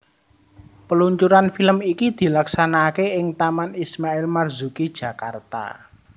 Peluncuran film iki dilaksanakake ing Taman Ismail Marzuki Jakarta